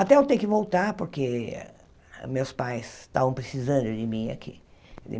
Até eu ter que voltar porque meus pais estavam precisando de mim aqui.